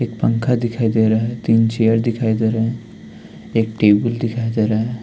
एक पंखा दिखाई दे रहा है तीन चेयर दिखाई दे रहें हैं एक टेबल दिखाई दे रहा है।